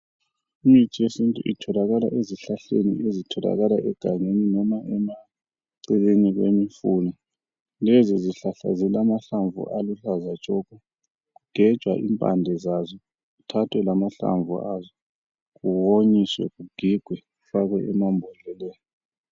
Imithi yesintu itholakala ezihlahleni ezitholakala egangeni noma emaceleni kwemifula. Lezizihlahla zilamahlamvu aluhlaza tshoko. Kugejwa impande zazo kuthathwe lamahlamvu aso kuwonyiswe kugigwe kufakwe emambodleleni.